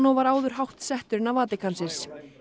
var áður hátt settur innan Vatíkansins